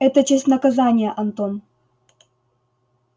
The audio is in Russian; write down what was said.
это часть наказания антон